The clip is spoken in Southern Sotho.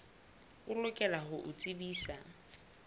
o lokela ho o tsebisa